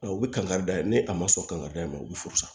U bɛ kan kari dayɛlɛ ni a ma sɔn kanga da in ma u bɛ furusa